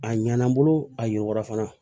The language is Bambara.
A ɲana n bolo a y'u wɔɔrɔ fana